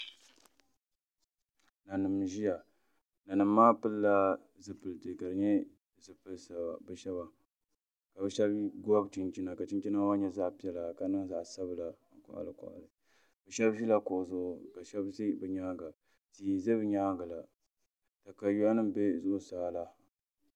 Nanim n ʒiya nanim maa pilila zipiliti ka di nyɛ zipili ka bi shab gobi chinchina ka chinchina maa nyɛ zaɣ piɛla ka niŋ zaɣ sabila n koɣali koɣali shab ʒila kuɣu zuɣu tia n ʒɛ bi nyaangi la katawiya nim n bɛ zuɣusaa la